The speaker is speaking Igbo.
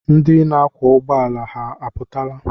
Ndị na-akwọ ụgbọala ha apụtala?